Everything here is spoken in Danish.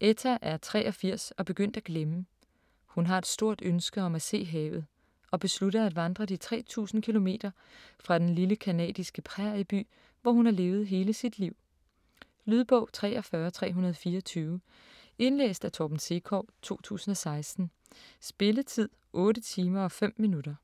Etta er 83 og begyndt at glemme. Hun har et stort ønske om at se havet og beslutter at vandre de 3000 km fra den lille canadiske prærieby, hvor hun har levet hele sit liv. Lydbog 43324 Indlæst af Torben Sekov, 2016. Spilletid: 8 timer, 5 minutter.